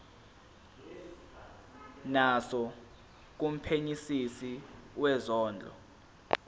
naso kumphenyisisi wezondlo